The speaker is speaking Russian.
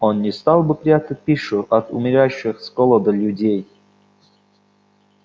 он не стал бы прятать пищу от умирающих с голоду людей